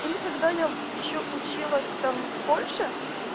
или когда я ещё училась там в польше